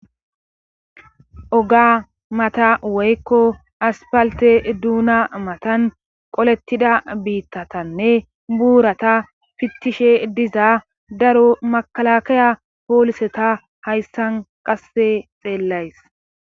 oga mata woykko aspalte duuna matan qolettida biittatanne buurata fittishe diza daro makalakaya pooliseta hayssan qasse xeellays